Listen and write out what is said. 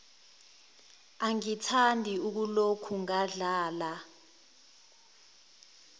angithandi ukuloku ngadlala